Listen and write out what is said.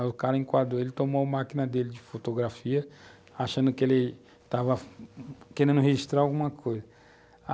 Aí o cara enquadrou ele, tomou a máquina dele de fotografia, achando que ele estava querendo registrar alguma coisa.